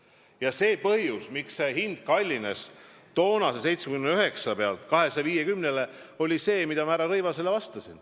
Ja põhjus, miks hind kallines toonase 79 miljoni pealt 250 miljonini, on see, mida ma härra Rõivasele vastasin.